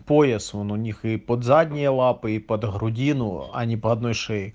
пояс вон у них и под задние лапы и под грудину а не по одной шее